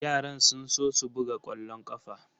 Yaran sun so su buga kwallon kafa.